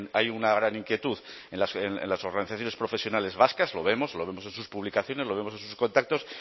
hay una gran inquietud en las organizaciones profesionales vascas lo vemos lo vemos en sus publicaciones lo vemos en sus contactos